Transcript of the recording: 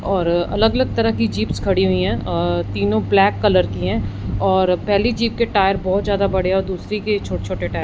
और अलग अलग तरह की जिप्स खड़ी हुई है और तीनों ब्लैक कलर की है और पेहली जीप के टायर बहोत ज्यादा बड़े और दूसरी के छोटे छोटे टाय--